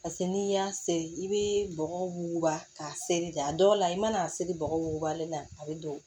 Paseke n'i y'a seri i bɛ bɔgɔ wuguba k'a seri da dɔw la i mana a seri bɔgɔ wugubalen na a bɛ don